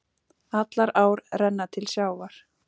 Allar ár renna til sjávar.